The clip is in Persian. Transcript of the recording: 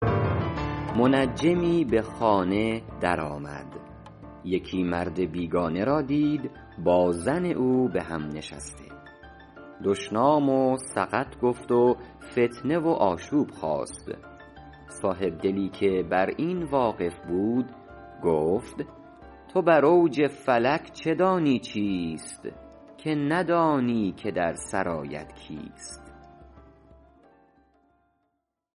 منجمی به خانه در آمد یکی مرد بیگانه را دید با زن او به هم نشسته دشنام و سقط گفت و فتنه و آشوب خاست صاحبدلی که بر این واقف بود گفت تو بر اوج فلک چه دانی چیست که ندانی که در سرایت کیست